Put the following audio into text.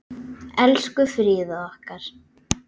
Elsku Fríða okkar.